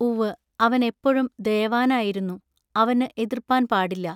ഉവ്വ അവൻ എപ്പോഴും ദയവാനായിരുന്നു. അവന്നു എതൃപ്പാൻ പാടില്ല.